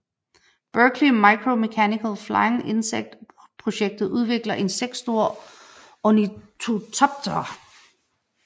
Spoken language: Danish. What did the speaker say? Berkeley Micromechanical Flying Insect projektet udvikler insektstore ornitoptere